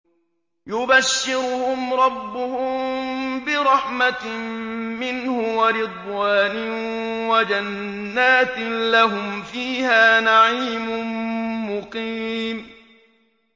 يُبَشِّرُهُمْ رَبُّهُم بِرَحْمَةٍ مِّنْهُ وَرِضْوَانٍ وَجَنَّاتٍ لَّهُمْ فِيهَا نَعِيمٌ مُّقِيمٌ